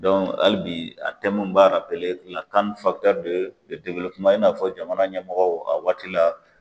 hali bi a n b'a CAN i n'a fɔ jamana ɲɛmɔgɔw a waati la.